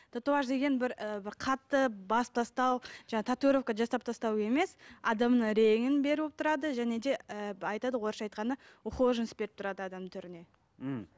татуаж деген бір ы бір қатты басып тастау жаңағы татуировка жасап тастау емес адамның реңін беріп тұрады және де ы айтады ғой орысша айтқанда ухоженность беріп тұрады адамның түріне м